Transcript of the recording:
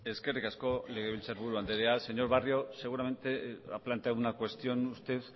eskerrik asko legebiltzar buru anderea señor barrio seguramente ha planteado una cuestión usted